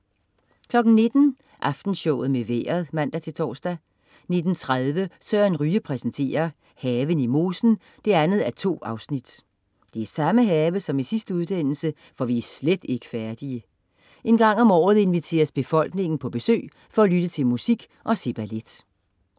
19.00 Aftenshowet med Vejret (man-tors) 19.30 Søren Ryge præsenterer. Haven i mosen (2:2) Det er samme have som i sidste udsendelse, for vi er slet ikke færdige. En gang om året inviteres befolkningen på besøg for at lytte til musik og se ballet 20.00 P.S. Krøyer. Sikken en fest. Skagensmalernes efterkommere fortæller om det fascinerende liv og den festlige tid i Skagen, hvor P.S. Krøyer er det absolutte midtpunkt 21.00 TV Avisen (man-fre) 21.25 Horisont. Mette Vibe Utzon